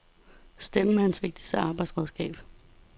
Stemmen er hans vigtigste arbejdsredskab.